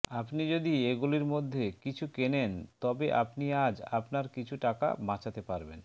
আপনি যদি এগুলির মধ্যে কিছু কেনেনে তবে আপনি আজ আপনার কিছু টাকা বাচাতে পারবেন